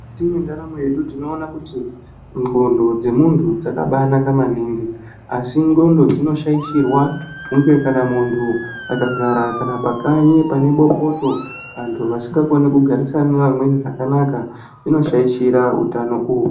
Mukati mwendaramo yedu tinoona kuti ndxondo dzemuntu dzakanaka maningi asi ndxondo dzinoshaishirwa hunge muntu akagara pakanyi kana pane bopoto vantu vasikakoni kugarisana nevamweni zvakanaka zvinoshaishira utano uhu.